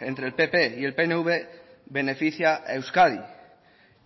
entre el pp y el pnv beneficia a euskadi